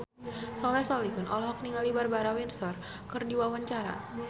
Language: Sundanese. Soleh Solihun olohok ningali Barbara Windsor keur diwawancara